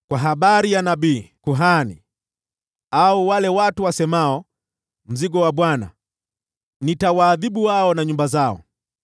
Nabii, kuhani, au mtu yeyote akisema, ‘Huu ndio mzigo wa Bwana ,’ nitamwadhibu huyo na nyumba yake.